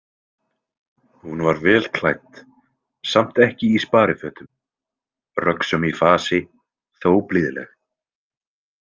Hún var vel klædd, samt ekki í sparifötum, röggsöm í fasi, þó blíðleg.